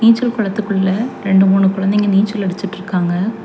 நீச்சல் குளத்துக்குள்ள ரெண்டு மூணு குழந்தைங்க நீச்சல் அடிச்சிட்ருக்காங்க.